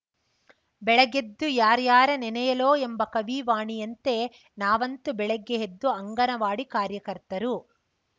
ಬೆಳಗೆದ್ದು ಯಾಱ್ಯಾರ ನೆನೆಯಲೋ ಎಂಬ ಕವಿ ವಾಣಿಯಂತೆ ನಾವಂತೂ ಬೆಳಗ್ಗೆ ಎದ್ದು ಅಂಗನವಾಡಿ ಕಾರ್ಯಕರ್ತರು